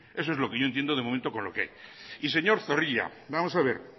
eso es lo que yo entiendo de momento con lo que hay y señor zorrilla vamos a ver